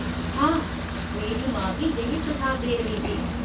हाँ, मेरी माँ भी यही सुझाव दे रही थी।